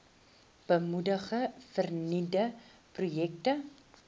moedig vernuwende projekte